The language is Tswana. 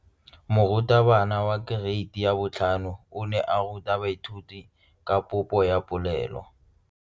Moratabana wa kereiti ya 5 o ne a ruta baithuti ka popô ya polelô.